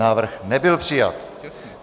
Návrh nebyl přijat.